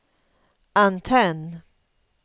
antenn